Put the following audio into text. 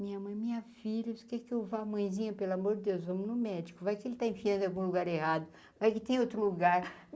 Minha mãe, minha filha, você quer que eu vá mãezinha pelo amor de Deus, vamos no médico, vai que ele está enfiando em algum lugar errado, vai que tem outro lugar.